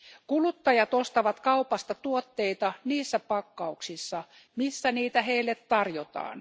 Kuluttajat ostavat kaupasta tuotteita niissä pakkauksissa, missä niitä heille tarjotaan.